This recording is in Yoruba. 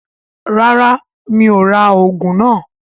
Rárá, mi ò rà òògùn náà